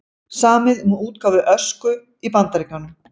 Samið um útgáfu Ösku í Bandaríkjunum